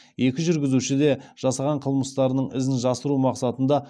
екі жүргізуші де жасаған қылмыстарының ізін жасыру мақсатында